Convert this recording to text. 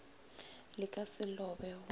le ka se lobe go